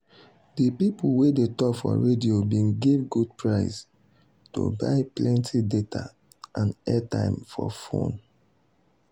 de people wey dey tok for radio bin give good price to buy plenty data and airtime for fone.